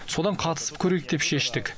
содан қатысып көрейік деп шештік